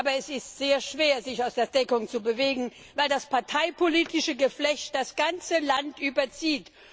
Aber es ist sehr schwer, sich aus der Deckung zu bewegen, weil das parteipolitische Geflecht das ganze Land überzieht.